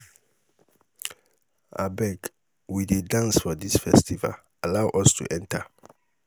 abeg we dey dance for dis festival allow us to enter.